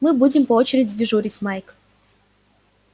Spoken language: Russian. мы будем по очереди дежурить майк